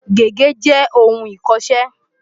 Gègé jẹ́ ohun ìkọṣẹ́.